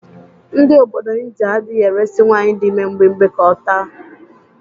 Ndị obodo Indịa adịghị eresi nwaanyị dị ime mgbimgbi ka ọ taa.